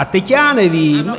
A teď já nevím.